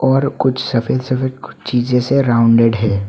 और कुछ सफेद सफेद कुछ चीजें से राउंडेड है।